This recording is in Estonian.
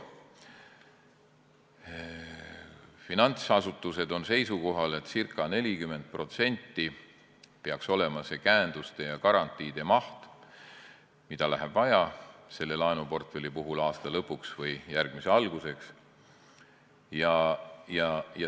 Finantsasutused on seisukohal, et ca 40% peaks olema käenduste ja garantiide maht, mida läheb selle laenuportfelli puhul vaja aasta lõpuks või järgmise alguseks.